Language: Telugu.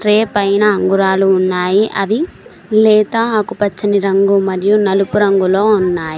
రేపైనా అంగరాలు ఉన్నాయి అవి లేతా ఆకుపచ్చని రంగు మరియు నలుపు రంగులో ఉన్నాయి.